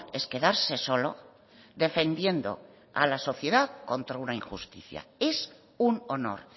es quedarse solo defendiendo a la sociedad contra una injusticia es un honor